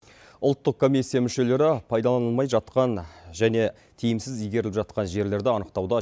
ұлттық комиссия мүшелері пайдаланылмай жатқан және тиімсіз игеріліп жатқан жерлерді анықтауда